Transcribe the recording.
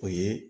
O ye